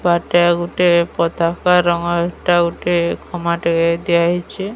ତାର୍ ଟା ଗୁଟେ ପତକା ରଙ୍ଗର୍ ଏଟା ଗୁଟେ ଖମା ଟେ ଦିଆହେଇଚି।